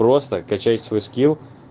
просто качать свой скилл